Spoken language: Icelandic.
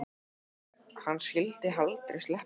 Nei, hann skyldi aldrei sleppa honum.